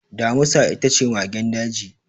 Damusa ita ce magen daji.